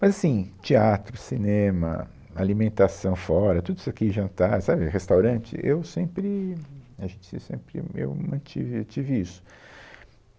Mas, assim, teatro, cinema, alimentação fora, tudo isso aqui, jantar, sabe, restaurante, eu sempre, acho que sim sempre, eu mantive, tive isso.